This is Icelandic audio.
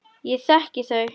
Ég þekki þau.